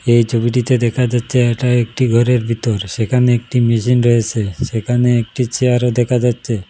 এই ছবিটিতে দেখা যাচ্ছে এটা একটি ঘরের ভিতর সেখানে একটি মেশিন রয়েসে সেখানে একটি চেয়ারও দেখা যাচ্ছে।